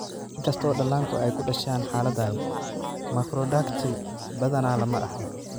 Inkasta oo dhallaanku ay ku dhashaan xaaladdan, makrodactyly badanaa lama dhaxlo.